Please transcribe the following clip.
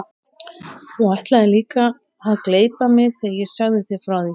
Þú ætlaðir líka að gleypa mig þegar ég sagði þér frá því.